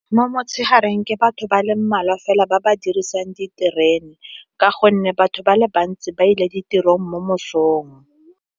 Mo motshegareng ke batho ba le mmalwa fela ba ba dirisang diterene, ka gonne batho ba le bantsi ba ile ditirong mo mosong.